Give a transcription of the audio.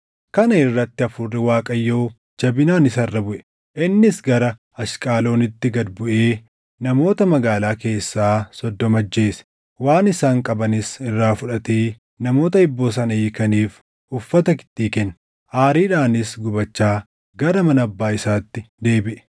Kana irratti Hafuurri Waaqayyoo jabinaan isa irra buʼe. Innis gara Ashqaloonitti gad buʼee namoota magaalaa keessaa soddoma ajjeese; waan isaan qabanis irraa fudhatee namoota hibboo sana hiikaniif uffata kittii kenne. Aariidhaanis gubachaa gara mana abbaa isaatti deebiʼe.